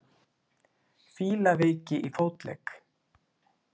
Fílaveiki í fótlegg.